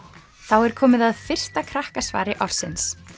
er komið að fyrsta Krakkasvari ársins